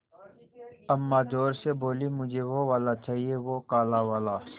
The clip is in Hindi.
अम्मा ज़ोर से बोलीं मुझे वो वाला चाहिए वो काला वाला